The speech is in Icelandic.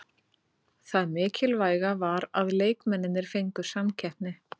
Það mikilvæga var að leikmennirnir fengu samkeppni.